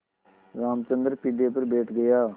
रामचंद्र पीढ़े पर बैठ गया